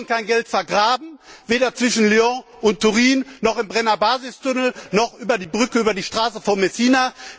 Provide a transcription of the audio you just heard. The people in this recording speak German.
Wir wollen kein Geld vergraben, weder zwischen Lyon und Turin noch im Brennerbasistunnel noch bei der Brücke über die Straße von Messina.